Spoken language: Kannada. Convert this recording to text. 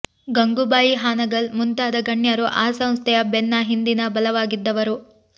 ಗಂಗೂಬಾಯಿ ಹಾನಗಲ್ ಮುಂತಾದ ಗಣ್ಯರು ಆ ಸಂಸ್ಥೆಯ ಬೆನ್ನ ಹಿಂದಿನ ಬಲವಾಗಿದ್ದವರು